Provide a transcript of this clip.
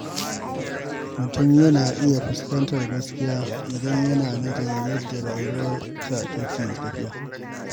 Mutum yana iya fuskantar gaskiya idan yana nazarin yadda rayuwarsa take tafiya.